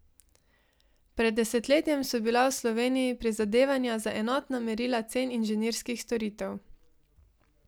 Pred desetletjem so bila v Sloveniji prizadevanja za enotna merila cen inženirskih storitev.